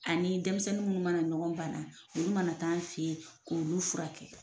Ani denmisɛnnin minnu mana ɲɔgɔn ban na olu mana t'an fɛ ye k'olu fura kɛ.